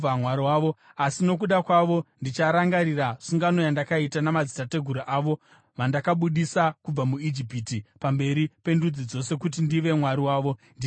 Asi nokuda kwavo ndicharangarira sungano yandakaita namadzitateguru avo vandakabudisa kubva muIjipiti pamberi pendudzi dzose kuti ndive Mwari wavo. Ndini Jehovha.’ ”